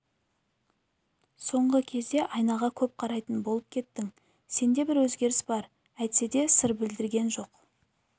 соңғы кезде айнаға көп қарайтын болып кеттің сенде бір өзгеріс бар әйтсе де сыр білдірген жоқ